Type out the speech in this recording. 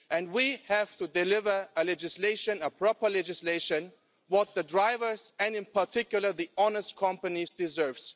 We have to deliver a proper legislation that the drivers, and in particular the honest companies, deserve.